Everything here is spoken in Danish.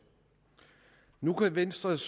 nu kan venstres